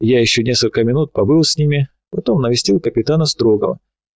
я ещё несколько минут побыл с ними потом навестил капитана строгова